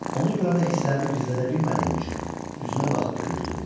Onu görəndə hisslərimi gizlədə bilmədiyim üçün üzünə baxıb güldüm.